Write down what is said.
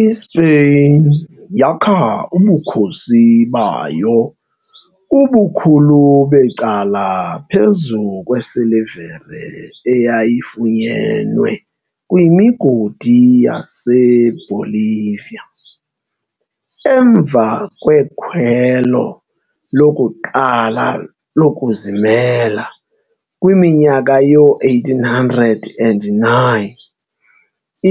ISpeyin yakha ubukhosi bayo ubukhulu becala phezu kwesilivere eyayifunyenwe kwimigodi yaseBolivia. Emva kwekhwelo lokuqala lokuzimela kwiminyaka yoo-1809,